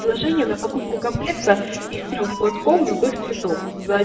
предложение на покупку комплекта из трёх мотков любых цветов